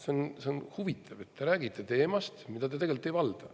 See on huvitav, et te räägite teemast, mida te tegelikult ei valda.